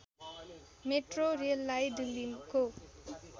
metro रेललाई दिल्लीको